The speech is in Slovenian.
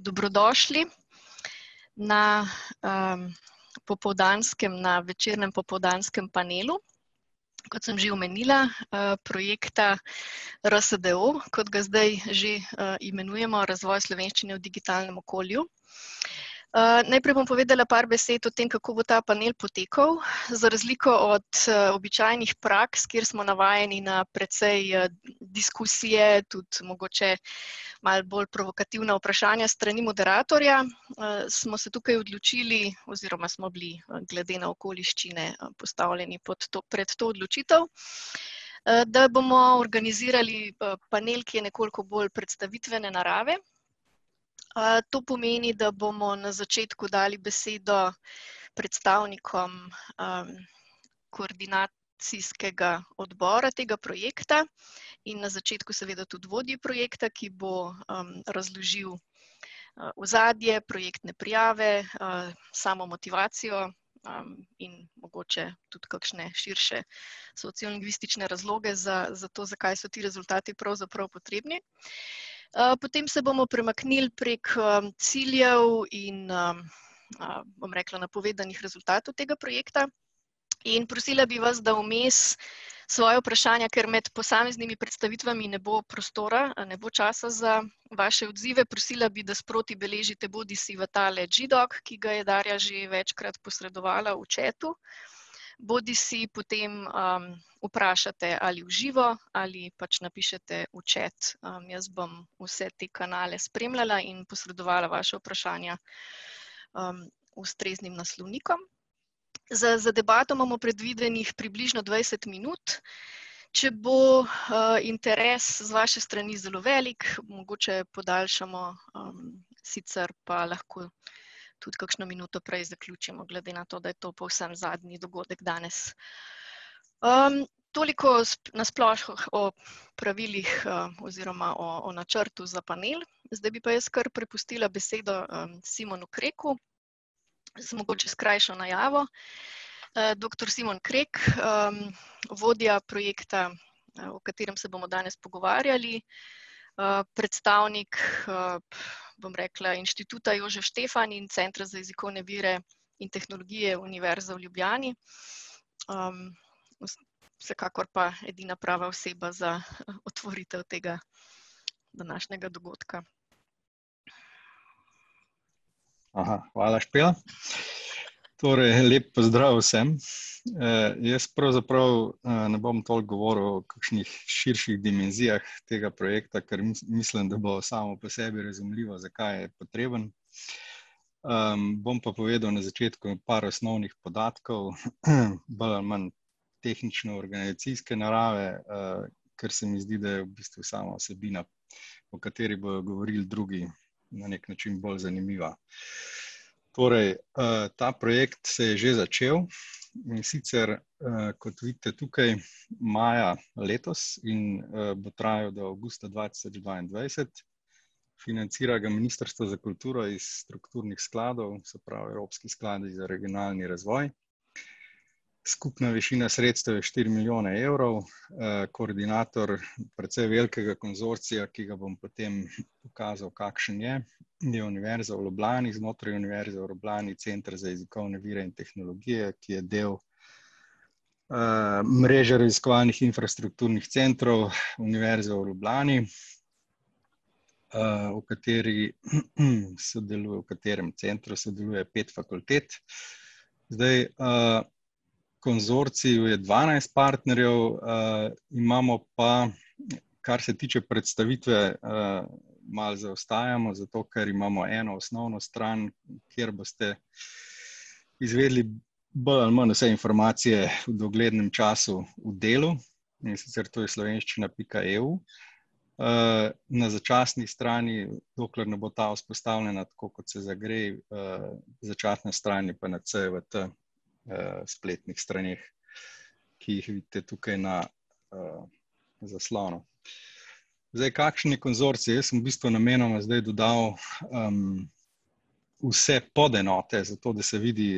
Dobrodošli, na, popoldanskem, na večernem popoldanskem panelu. Kot sem že omenila, projekta RSDO, kot ga zdaj že, imenujemo Razvoj slovenščine v digitalnem okolju. najprej bom povedala par besed o tem, kako bo ta panel potekal. Za razliko od običajnih praks, kjer smo navajeni na precej, diskusije, tudi mogoče malo bolj provokativna vprašanja s strani moderatorja, smo se tukaj odločili, oziroma smo bili glede na okoliščine postavljeni pod to, pred to odločitev, da bomo organizirali panel, ki je nekoliko bolj predstavitvene narave. to pomeni, da bomo na začetku dali besedo predstavnikom, koordinacijskega odbora tega projekta in na začetku seveda tudi vodji projekta, ki bo, razložil ozadje, projektne prijave, samo motivacijo, in mogoče tudi kakšne širše sociolingvistične razloge, zato, zakaj so ti rezultati pravzaprav potrebni. potem se bomo premaknili prek, ciljev in, bom rekla, napovedanih rezultatov tega projekta. In prosila bi vas, da vmes svoja vprašanja, ker med posameznimi predstavitvami ne bo prostora, ne bo časa za vaše odzive, prosila bi, da sproti beležite, bodisi v tale G doc, ki ga je Darja že večkrat posredovala v chatu, bodisi potem, vprašate ali v živo ali pač napišete v chat. jaz bom vse te kanale spremljala in posredovala vaša vprašanja, ustreznim naslovnikom. Za za debato imamo predvidenih približno dvajset minut. Če bo, interes z vaše strani zelo velik, mogoče podaljšamo, sicer pa lahko tudi kakšno minuto prej zaključimo, glede na to, da je to povsem zadnji dogodek danes. toliko na sploh o pravilih, oziroma o, o načrtu za panel. Zdaj bi pa jaz kar prepustila besedo, Simonu Kreku, z mogoče s krajšo najavo. doktor Simon Krek, vodja projekta, o katerem se bomo danes pogovarjali. predstavnik, bom rekla, Inštituta Jožef Stefan in Centra za jezikovne vire in tehnologije Univerze v Ljubljani. vsekakor pa edina prava oseba za otvoritev tega današnjega dogodka. hvala, Špela. Torej en lep pozdrav vsem. jaz pravzaprav ne bom toliko govoril o kakšnih širših dimenzijah tega projekta, ker mislim, da bo samo po sebi razumljivo, zakaj je potreben. bom pa povedal na začetku par osnovnih podatkov bolj ali manj tehnično-organizacijske narave. ker se mi zdi, da je v bistvu sama vsebina, o kateri bojo govorili drugi, na neki način bolj zanimiva. Torej, ta projekt se je že začel, in sicer, kot vidite tukaj maja letos in, bo trajal do avgusta dva tisoč dvaindvajset. Financira ga Ministrstvo za kulturo iz strukturnih skladov, se pravi Evropski skladi za regionalni razvoj. Skupna višina sredstev je štiri milijone evrov, koordinator precej velikega konzorcija, ki ga bom potem pokazal, kakšen je, je Univerza v Ljubljani, znotraj Univerze v Ljubljani Center za jezikovne vire in tehnologije, ki je del, mreže raziskovalnih infrastrukturnih centrov Univerze v Ljubljani, o kateri, sodeluje, v katerem centru sodeluje pet fakultet. Zdaj, v konzorciju je dvanajst partnerjev, imamo pa, kar se tiče predstavitve, malo zaostajamo, zato ker imamo eno osnovno stran, kjer boste izvedeli bolj ali manj vse informacije v oglednem času v delu, in sicer to je slovenščina pika eu. na začasni strani, dokler ne bo ta vzpostavljena tako, kot se za gre, začasna stran je pa na CJVT, spletnih straneh, ki jih vidite tukaj na, zaslonu. Zdaj kakšni konzorciji, jaz sem v bistvu namenoma zdaj dodal, vse podenote, zato da se vidi,